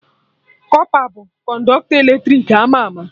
Kọpa bụ Kọnọktọ eletrik ama ama